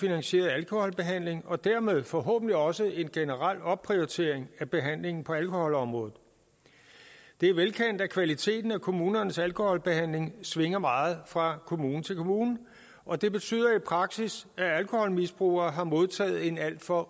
finansierede alkoholbehandling og dermed forhåbentlig også en generel opprioritering af behandlingen på alkoholområdet det er velkendt at kvaliteten af kommunernes alkoholbehandling svinger meget fra kommune til kommune og det betyder i praksis at alkoholmisbrugere har modtaget en alt for